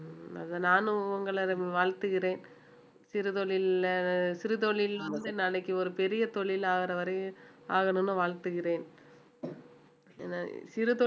உம் அது நானும் உங்களை வாழ்த்துகிறேன் சிறுதொழில்ல சிறுதொழில்ல வந்து நாளைக்கு ஒரு பெரிய தொழில் ஆகுற வரையும் ஆகணும்ன்னு வாழ்த்துகிறேன் சிறு தொழில்